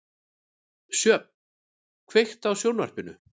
Sjöfn, kveiktu á sjónvarpinu.